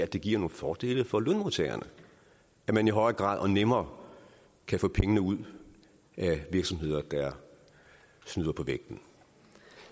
det giver nogle fordele for lønmodtagerne at man i højere grad og nemmere kan få pengene ud af virksomheder der snyder på vægten